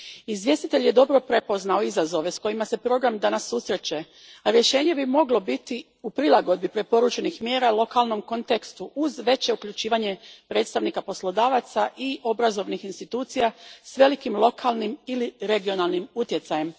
Izvjestitelj je dobro prepoznao izazove s kojima se program danas susreće, a rješenje bi moglo biti u prilagodbi preporučenih mjera lokalnom kontekstu uz veće uključivanje predstavnika poslodavaca i obrazovnih institucija s velikim lokalnim ili regionalnim utjecajem.